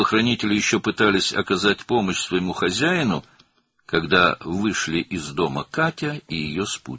Cangüdənlər hələ də sahiblərinə kömək etməyə çalışırdılar, bu vaxt Katya və onun yoldaşı evdən çıxdılar.